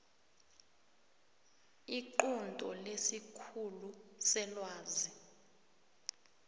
iqunto lesikhulu selwazi